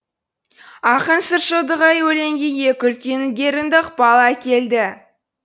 ақын сыршылдығы өлеңге екі үлкен ілгерінді ықпал әкелді